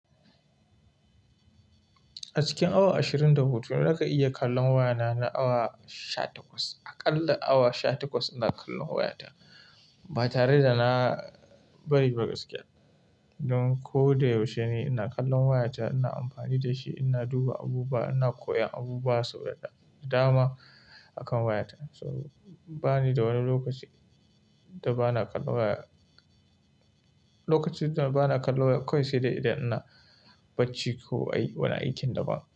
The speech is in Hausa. A cikin awa ashirin da hudu na ka iya kallon wayana na awa sha takwas. A ƙalla awa sha takwas ina kallon wayata ba tare da na bari buga screen ba. Don ko da yaushe ina kallon wayata, ina amfani da shi, ina duba abubuwa, ina koyon abubuwa sau da dama akan wayata. So bani da wani lokaci da ba na kallon waya, lokacin da ba na kallon waya kawai sai dai idan ina bacci ko ai wani aikin da ba.